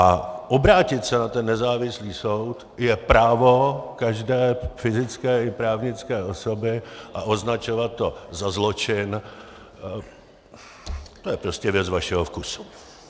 A obrátit se na ten nezávislý soud je právo každé fyzické i právnické osoby a označovat to za zločin, to je prostě věc vašeho vkusu.